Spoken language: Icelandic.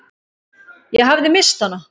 Ég hafði misst hana.